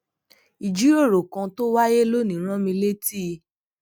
ìjíròrò kan tó wáyé lónìí rán mi létí